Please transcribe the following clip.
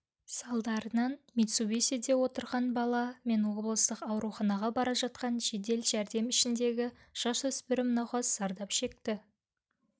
салдарынан митсубисиде отырға бала мен облыстық ауруханаға бара жатқан жедел жәрдем ішіндегі жасөспірім науқас зардап шекті